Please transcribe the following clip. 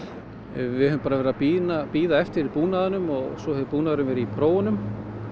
við höfum bara verið að bíða bíða eftir búnaðinum svo hefur búnaðurinn verið í prófunum